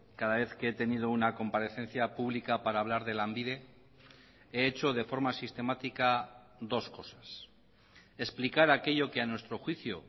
cada vez que he tenido una comparecencia pública para hablar de lanbide he hecho de forma sistemática dos cosas explicar aquello que a nuestro juicio